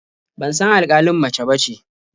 Ban san alƙalin mace bace.